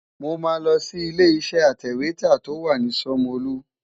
Mo máa lọ sí ilé-iṣẹ́ atẹ̀wétà tó wà ní Ṣomolu.